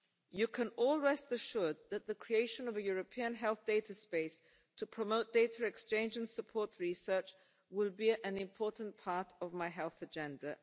You can all rest assured that the creation of a European health data space to promote data exchange and support research will be an important part of my health agenda.